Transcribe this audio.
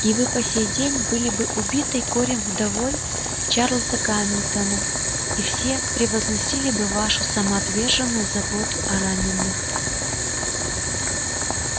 и вы по сей день были бы убитой горем вдовой чарлза гамильтона и все превозносили бы вашу самоотверженную заботу о раненых